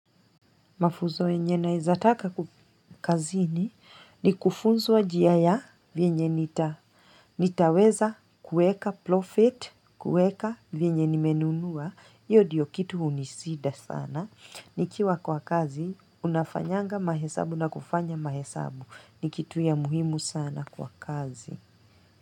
Mafunzo yenye na izataka kukazini ni kufunzwa jia ya vienye nitaweza kuweka profit, kuweka vienye nimenunua. Iyo diyo kitu unisida sana. Nikiwa kwa kazi, unafanyanga mahesabu na kufanya mahesabu. Ni kitu ya muhimu sana kwa kazi.